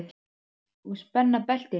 Og spenna beltin.